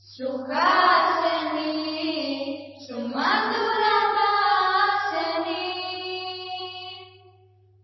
സുഹാസിനീം സുമധുര ഭാഷിണീം